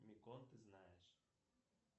микон ты знаешь